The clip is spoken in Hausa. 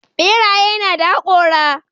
Ɓeraye nada haƙora.